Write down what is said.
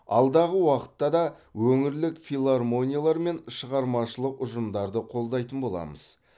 алдағы уақытта да өңірлік филармониялар мен шығармашылық ұжымдарды қолдайтын боламыз